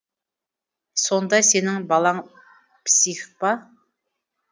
сонда сенің балаң псих па